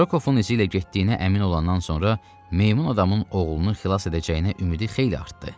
Rokovun izi ilə getdiyinə əmin olandan sonra meymun adamın oğlunu xilas edəcəyinə ümidi xeyli artdı.